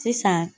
Sisan